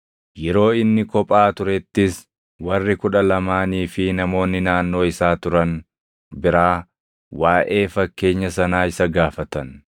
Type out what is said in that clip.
Yeroo inni kophaa turettis warri Kudha Lamaanii fi namoonni naannoo isaa turan biraa waaʼee fakkeenya sanaa isa gaafatan.